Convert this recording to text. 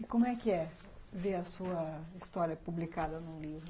E como é que é ver a sua história publicada num livro?